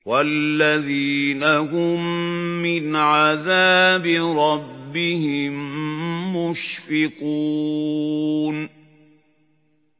وَالَّذِينَ هُم مِّنْ عَذَابِ رَبِّهِم مُّشْفِقُونَ